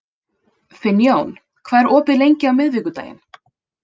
Finnjón, hvað er opið lengi á miðvikudaginn?